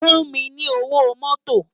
Fún mi ni ówó mòtó